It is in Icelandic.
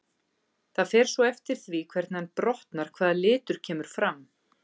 Það fer svo eftir því hvernig hann brotnar hvaða litur kemur fram.